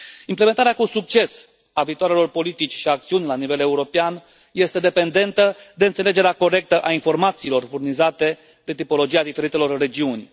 Implementarea cu succes a viitoarelor politici și acțiuni la nivel european este dependentă de înțelegerea corectă a informațiilor furnizate de tipologia diferitelor regiuni.